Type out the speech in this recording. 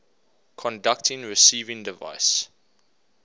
conducting receiving device